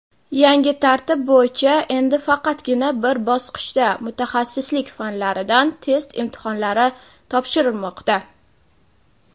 Yangi tartib bo‘yicha endi faqatgina bir bosqichda "Mutaxassislik fanlari"dan test imtihonlari topshirilmoqda.